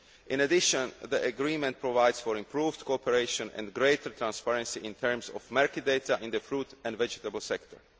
In addition, the agreement provides for improved cooperation and greater transparency in terms of market data in the fruit and vegetable sector.